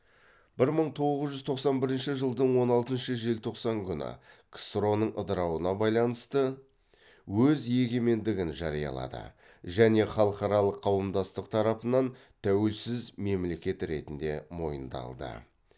бір мың тоғыз жүз тоқсан бірінші жылдың он алтыншы желтоқсан күні ксро ның ыдырауына байланысты өз егемендігін жариялады және халықаралық қауымдастық тарапынан тәуелсіз мемлекет ретінде мойындалды